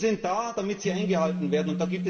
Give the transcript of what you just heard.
Regeln sind da, damit sie eingehalten werden.